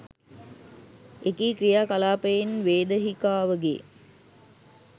එකී ක්‍රියා කලාපයෙන් වේදහිකාවගේ